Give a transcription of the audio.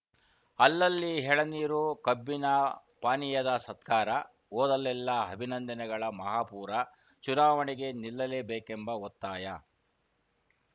ಅಲ್ಲಲ್ಲಿ ಹೆಳನೀರು ಕಬ್ಬಿನ ಪಾನೀಯದ ಸತ್ಕಾರ ಓದಲ್ಲೆಲ್ಲಾ ಅಭಿನಂದನೆಗಳ ಮಹಾಪೂರ ಚುನಾವಣೆಗೆ ನಿಲ್ಲಲೇಬೇಕೆಂಬ ಒತ್ತಾಯ